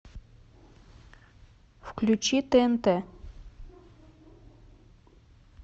включи тнт